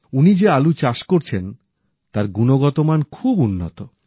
উনি যে আলু চাষ করছেন তার গুণগতমান খুব উন্নত